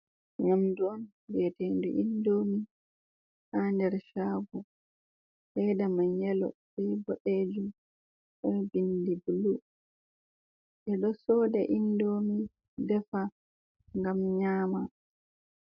Nyamdu on vi'etendu indomi ha nder shago leda man yalo be boɗejum be bindi bulu ɓeɗo soda indomi defa ngam nyama.